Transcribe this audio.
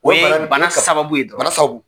O ye bana sababu ye dɔrɔn, bana sababu